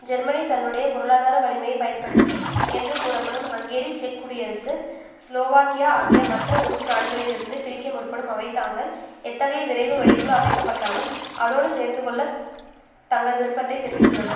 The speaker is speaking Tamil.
ஜெர்மனி தன்னுடைய பொருளாதார வலிமையை பயன்படுத்தி என்று கூறப்படும் ஹங்கேரி செக் குடியரசு ஸ்லோவாக்கியா ஆகிய மற்ற உறுப்புநாடுகளிலிருந்து பிரிக்க முற்படும் அவை தாங்கள் எத்தகைய விரைவு வழிக்குழு அமைக்கப்பட்டாலும் அதோடு சேர்ந்கொள்ளத் தங்கள் விருப்பத்தை தெரிவித்துள்ளன